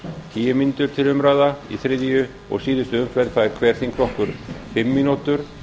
tíu mínútur til umráða í þriðju og síðustu umferð fær hver þingflokkur fimm mínútur